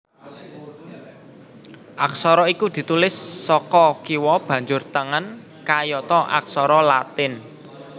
Aksara iku ditulis saka kiwa banjur tengen kayata aksara Latin